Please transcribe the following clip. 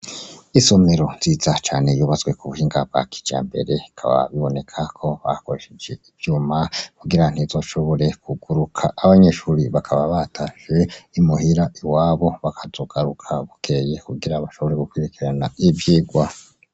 Isomero nziza cane yubatswe ku buhinga bwa kijambere bikaba biboneka ko bakoresheje ivyuma kugira ntizoshobore kuguruka abanyeshure bakaba batashe imuhira iwabo bakazogaruka bukeye kugira bashobore gukurikirana ivyigwa.